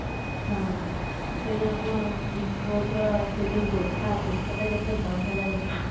ହଁ ସେଇ ଆମ street roadର ସେ ଯୋଉ ଦୋଷା ଟା କେତେ ବଢିଆ ଲାଗୁଥିଲା